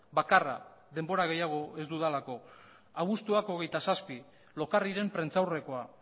bakarra denbora gehiago ez dudalako abuztuak hogeita zazpi lokarriren prentsaurrekoa